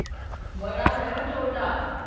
ਬੜਾ ਹੋਆ ਵਾ ਛੋਟਾਂ